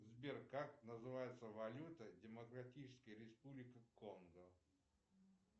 сбер как называется валюта демократической республики конго